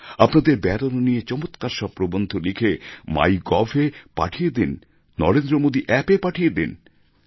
আপনাদের বেড়ানো নিয়ে চমৎকার সব প্রবন্ধ লিখে মাইগভ এ পাঠিয়ে দিন নরেন্দ্রমোদী অ্যাপ এ পাঠিয়ে দিন